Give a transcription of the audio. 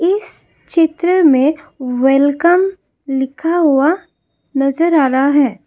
इस चित्र में वेलकम लिखा हुआ नजर आ रहा है।